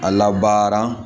A labaara